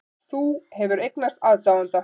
Þú hefur eignast aðdáanda.